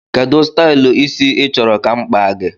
Kedụ stylu ịsị i chọrọ ka mụ kpaa gị?